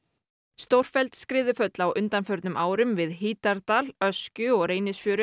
stórfelld skriðuföll á undanförnum árum við Hítardal Öskju og Reynisfjöru